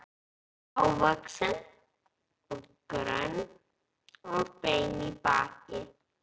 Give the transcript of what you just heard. Hávaxin og grönn og bein í baki.